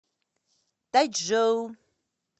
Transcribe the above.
тайчжоу